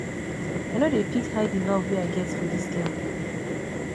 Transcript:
i no dey fit hide di love wey i get for dis girl